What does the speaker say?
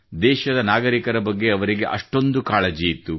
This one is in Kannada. ದೇಶದ ನಾಗರಿಕರ ಬಗ್ಗೆ ಅವರಿಗೆ ಅಷ್ಟೊಂದು ಕಾಳಜಿಯಿತ್ತು